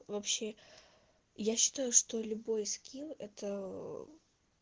вообще я считаю что любой скилл это